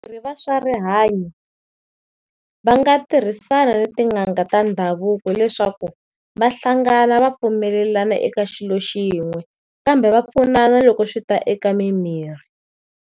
Vatirhi va swa rihanyo va nga tirhisana ni tin'anga ta ndhavuko leswaku vahlangana va pfumelelana eka xilo xin'we, kambe va pfunana loko swi ta eka mimirhi.